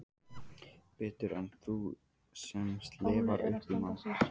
Betur en þú sem slefar upp í mann.